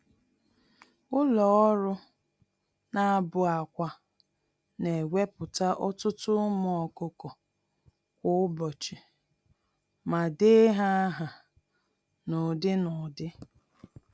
Ụlọ-ọrụ-na-abụ-ákwà (hatcheries) newepụta ọtụtụ ụmụ ọkụkọ kwa ụbọchị, ma dee ha áhà n'ụdị-n'ụdị